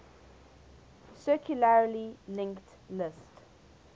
circularly linked list